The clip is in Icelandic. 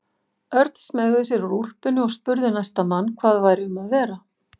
Örn smeygði sér úr úlpunni og spurði næsta mann hvað væri um að vera.